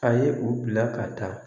A ye u bila ka taa